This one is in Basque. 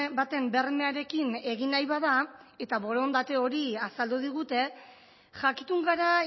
baten bermearekin egin nahi bada eta borondate hori azaldu digute jakitun gara